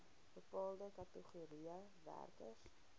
bepaalde kategorieë werkers